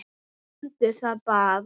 Nefndu það bara!